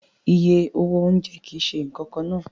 Iye owó oúnjẹ kì í ṣe nǹkan kan náà